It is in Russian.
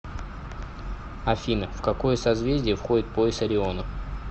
афина в какое созвездие входит пояс ориона